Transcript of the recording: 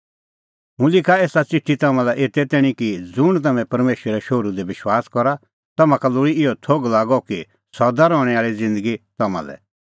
हुंह लिखा एसा च़िठी तम्हां लै एते तैणीं कि ज़ुंण तम्हैं परमेशरे शोहरू दी विश्वास करा तम्हां का लोल़ी इहअ थोघ लागअ कि सदा रहणैं आल़ी ज़िन्दगी तम्हां लै